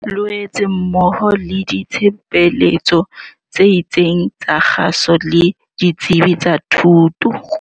Loetse mmoho le ditshebeletso tse itseng tsa kgaso le ditsebi tsa thuto.